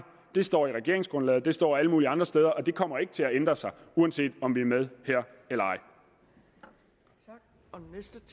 det står i regeringsgrundlaget og det står alle mulige andre steder og det kommer ikke til at ændre sig uanset om vi er med her eller ej